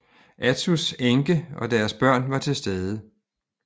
Atsus enke og deres børn var til stede